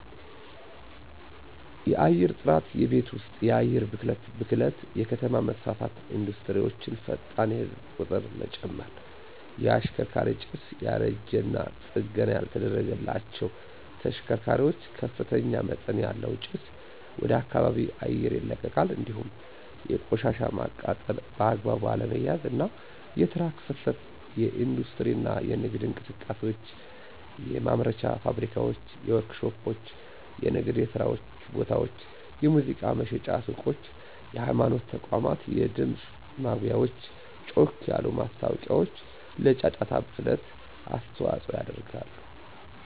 _የአየርጥራት የቤት ወስጥ የአየር ብክለት ብክለት_የከተማ መስፋፋትና ኢንዱስትሪወቸ፣ ፈጣን የህዝብ ቂጥርመጨመር። _የሽከርካሪ ጭስ ያረጂና ጠገና ያልተደረገላቸዉ ተሽከርካሪዋች ከፍተኛመጠን ያለዉ ጭስ ወደከባቢ አየር ይለቃል እንዲሁም የቆሻሻ ማቃጠል በአግባቡ አለመያዝ፣ አና የትራክ ፍሰት የኢንዲስትሪ እና የነግድ እንቅሰቃሴዎች፣ የማምረቻ ፋብሪካዋች፣ ወርክሾፖች፣ የንግድየስራቦታወች፣ የሙዚቃ መሽጫ ሱቆች፣ የሀይማኖት ተቋማት የድምጽ ማጉያወች ጮክ ያሉ ማስታወቂያዎችለጫጫታ ብክለት አስተዋጾ ያደርጋሉ።